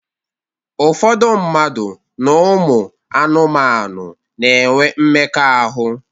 Ụfọdụ mmadụ na ụmụ anụmanu na-enwe mmekọahụ.